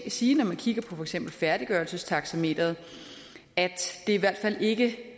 sige når man kigger på for eksempel færdiggørelsestaxameteret at det i hvert fald ikke